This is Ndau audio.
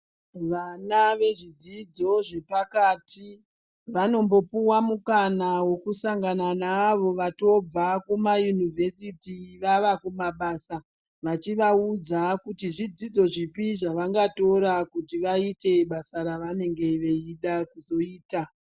Vana vezvidzidzo zvepakati vanombopuwa mukana wekusangana neavo vatobva kuma yunivhesiti vava kumabasa vachivaudza kuti zvidzidzo zvipi zvavangatora kuti vaite basa ravanenge veida kuzoita.